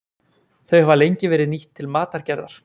þau hafa lengi verið nýtt til matargerðar